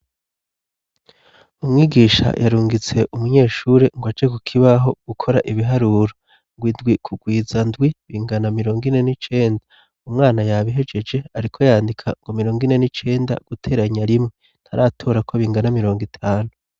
Umwigisha yarungitse umunyeshuri ngo aje ku kibaho gukora ibiharuro. Ngo indwi kugwiza indwi bingana mirongo ine n'icenda. Umwana yabihegeje ariko yandika ngo mirongo ine n'icenda guteranya rimwe ntaratora ko bingana mirongo itanu.